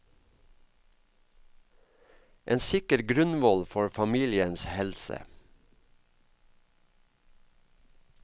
En sikker grunnvoll for familiens helse.